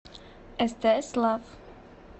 стс лав